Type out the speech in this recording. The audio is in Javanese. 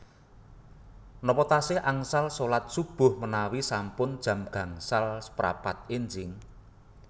Nopo tasih angsal solat subuh menawi sampun jam gangsal seprapat enjing?